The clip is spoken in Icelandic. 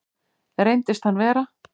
Reyndist hann vera